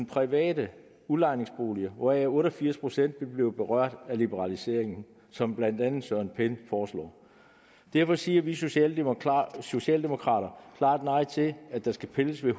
private udlejningsboliger hvoraf otte og firs procent ville blive berørt af liberaliseringen som blandt andet herre søren pind foreslår derfor siger vi socialdemokrater socialdemokrater klart nej til at der skal pilles ved